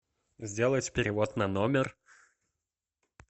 сделать перевод на номер